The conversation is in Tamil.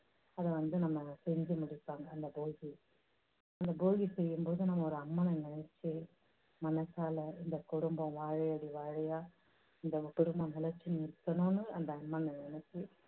அதை வந்து நம்ம செஞ்சு முடிப்பாங்க அந்த போகியை. அந்த போகி செய்யும் போது நம்ம ஒரு அம்மனை நினைச்சு மனசால இந்தக் குடும்பம் வாழையடி வாழையா இந்தக் குடும்பம் நிலைச்சு நிக்கணும்னு அந்த அம்மனை நினைச்சு